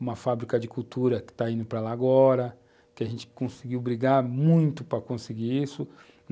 uma fábrica de cultura que está indo para lá agora, que a gente conseguiu brigar muito para conseguir isso.